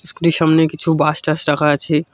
স্কুটির সামনে কিছু বাশ টাস রাখা আছে।